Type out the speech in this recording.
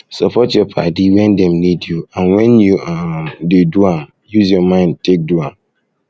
support your padi when dem need you and when you um dey um do am use your mind take do am